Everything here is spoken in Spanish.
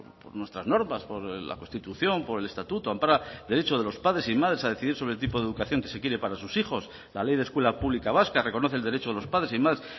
por nuestras normas por la constitución por el estatuto ampara el derecho de los padres y madres a decidir por el tipo de educación que se quiere para sus hijos la ley de escuela pública vasca reconoce el derecho de los padres y madres